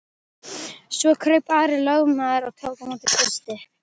Svo kraup Ari lögmaður og tók á móti Kristi.